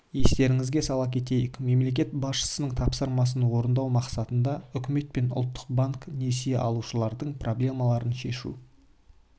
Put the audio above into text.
естеріңізге сала кетейік мемлекет басшысының тапсырмасын орындау мақсатында үкімет пен ұлттық банк несие алушылардың проблемаларын шешу